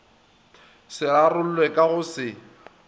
se rarollwe ka go se